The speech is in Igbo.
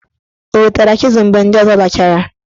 O wetara chịzul mgbe ndị ọzọ lachara?